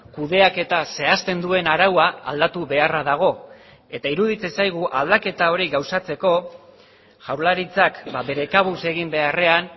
kudeaketa zehazten duen araua aldatu beharra dago eta iruditzen zaigu aldaketa hori gauzatzeko jaurlaritzak bere kabuz egin beharrean